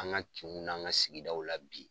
An ka kinw ni an kan sigi daw la bi.